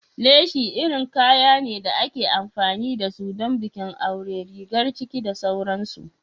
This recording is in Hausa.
Leshi irin kaya ne da ake amfani da su don bikin aure, rigar ciki da sauransu.